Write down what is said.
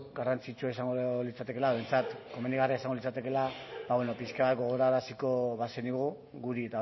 garrantzitsua izango litzatekeela behintzat komenigarria izango litzatekeela pixka bat gogoraraziko bazenigu guri